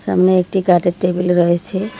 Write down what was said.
সামনে একটি কাঠের টেবিল রয়েছে।